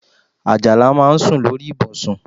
Àjàlá máa ń sùn lórí ibùsùn